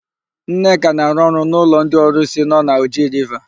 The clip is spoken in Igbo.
Nneka na-arụ ọrụ n'ụlọ ndị ọrụsị nọ na Oji Riva.